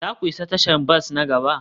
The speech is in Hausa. za ku isa tashar bas na gaba?